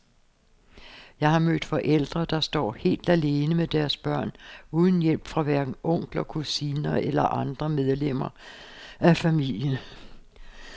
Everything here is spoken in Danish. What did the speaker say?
Jeg har mødt forældre, der står helt alene med deres børn uden hjælp fra hverken onkler, kusiner, eller andre medlemmer af familien.